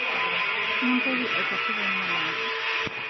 mintoki aitasho te mulango